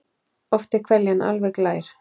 Oft er hveljan alveg glær.